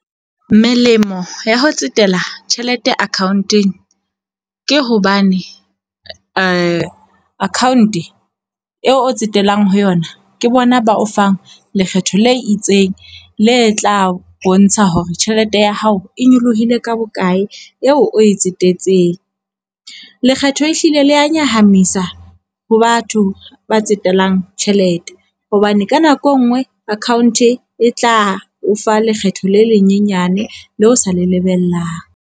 Melemo ya ho tsetela tjhelete account-eng ke hobane account eo o tsetelang ho yona ke bona ba o fang lekgetho le itseng, le tla bontsha hore tjhelete ya hao e nyolohile ka bokae eo o e tsetetsweng. Lekgetho ehlile le ya nyahamisa ho batho ba tsetelang tjhelete hobane ka nako e nngwe account e tla o fa lekgetho le lenyenyane leo sa le lebellang.